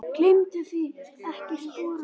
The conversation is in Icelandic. Gleymduð þið ekkert sporunum?